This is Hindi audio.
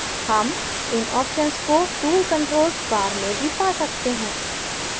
हम इन options को tool controls bar में भी पा सकते हैं